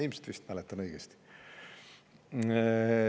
Ilmselt mäletan õigesti.